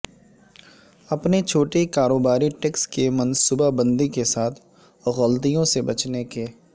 اپنے چھوٹے کاروباری ٹیکس کی منصوبہ بندی کے ساتھ غلطیوں سے بچنے کے